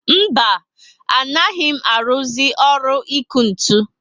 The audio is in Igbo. Mba, anaghị mụ aruzi ọrụ iku ntụ